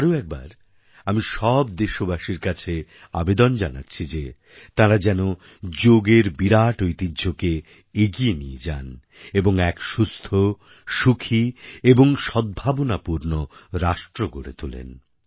আরও একবার আমি সব দেশবাসীর কাছে আবেদন জানাচ্ছি যে তাঁরা যেন যোগএর বিরাট ঐতিহ্যকে এগিয়ে নিয়ে যান এবং এক সুস্থ সুখী এবং সদ্ভাবনাপূর্ণ রাষ্ট্র গড়ে তোলেন